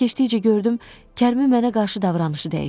Günlər keçdikcə gördüm, Kərimin mənə qarşı davranışı dəyişib.